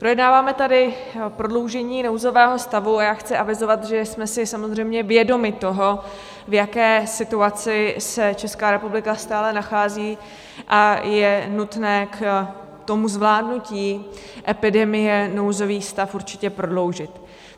Projednáváme tady prodloužení nouzového stavu a já chci avizovat, že jsme si samozřejmě vědomi toho, v jaké situaci se Česká republika stále nachází a je nutné k tomu zvládnutí epidemie nouzový stav určitě prodloužit.